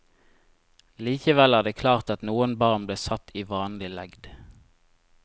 Likevel er det klart at noen barn ble satt i vanlig legd.